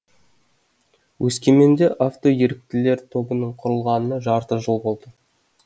өскеменде автоеріктілер тобының құрылғанына жарты жыл болды